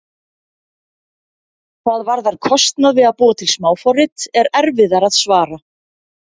Hvað varðar kostnað við að búa til smáforrit er erfiðara að svara.